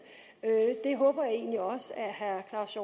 herre claus